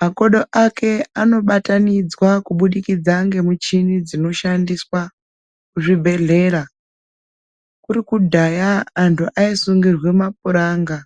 makodo ake anobatanidzwa kubudikidza ngemichini dzinoshandiswa muzvibhehlera. Kuri kudhaya antu aisungirwe mapuranga.